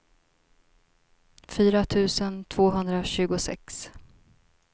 fyra tusen tvåhundratjugosex